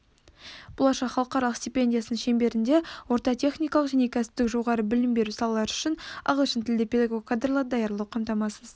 болашақ халықаралық стипендиясының шеңберінде орта техникалық және кәсіптік жоғары білім беру салалары үшін ағылшынтілді педагог кадрларды даярлау қамтамасыз